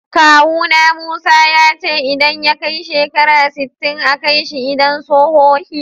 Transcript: Kawu na Musa, ya ce idan ya kai shekara sitin a Kai shi idan sohohi.